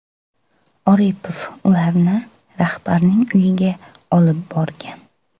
Oripov ularni rahbarning uyiga olib borgan.